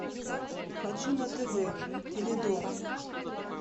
хочу на тв теледом